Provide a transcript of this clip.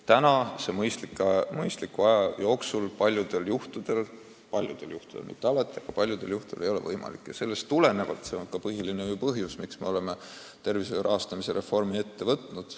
Praegu see mõistliku aja jooksul paljudel juhtudel – paljudel juhtudel, mitte alati – ei ole võimalik ja see on ka peamine põhjus, miks me oleme tervishoiu rahastamise reformi ette võtnud.